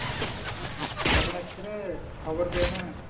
কেমন আছিস রে খবর পেয়েনা